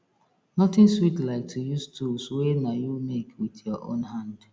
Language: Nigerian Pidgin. nothing sweat like to use tools wey na you make wit yur own hand